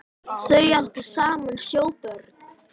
Þau áttu saman sjö börn.